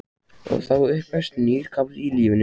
Og þá upphefst nýr kafli í lífi mínu.